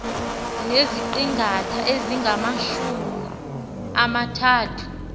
neziqingatha ezingamajumi amathathu